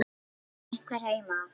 Halló, er einhver heima?